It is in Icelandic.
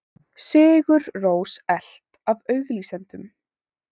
Sigur Rós elt af auglýsendum